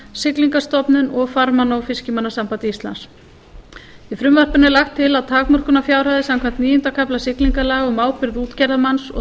siglingastofnun og farmanna og fiskimannasambandi íslands í frumvarpinu er lagt til að takmörkunarfjárhæðir samkvæmt níunda kafla siglingalaga um ábyrgð útgerðarmanns og